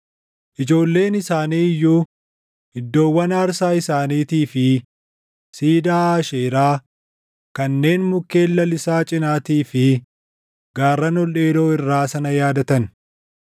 Ijoolleen isaanii iyyuu iddoowwan aarsaa isaaniitii fi siidaa Aasheeraa kanneen mukkeen lalisaa cinaatii fi gaarran ol dheeroo irraa sana yaadatan.